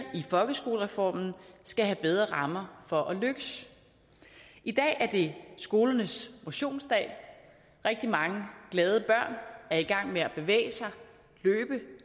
i folkeskolereformen skal have bedre rammer for at lykkes i dag er det skolernes motionsdag rigtig mange glade børn er i gang med at bevæge sig